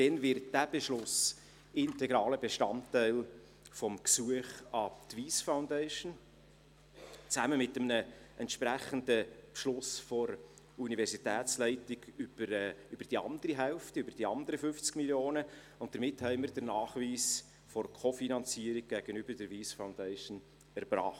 Dann wird dieser Beschluss integraler Bestandteil des Gesuchs an die Wyss Foundation – zusammen mit einem entsprechenden Beschluss der Universitätsleitung für die andere Hälfte, die anderen 50 Mio. Franken –, und damit haben wir den Nachweis für der Co-Finanzierung gegenüber der Wyss Foundation erbracht.